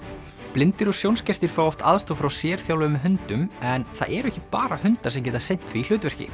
blindir og sjónskertir fá oft aðstoð frá sérþjálfuðum hundum en það eru ekki bara hundar sem geta sinnt því hlutverki